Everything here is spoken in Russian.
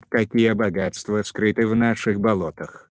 вот какие богатства скрыты в наших болотах